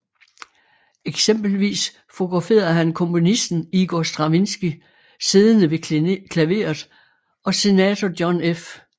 Eksempelvis fotograferede han komponisten Igor Stravinskij siddende ved klaveret og senator John F